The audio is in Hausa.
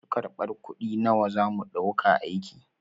Masu kar ɓar kuɗi nawa zamu ɗauka aiki?